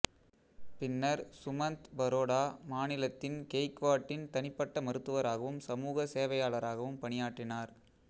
பின்னர் சுமந்த் பரோடா மாநிலத்தின் கெய்க்வாட்டின் தனிப்பட்ட மருத்துவராகவும் சமூக சேவையாளராகவும் பணியாற்றினார்